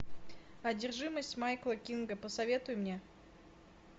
одержимость майкла кинга посоветуй мне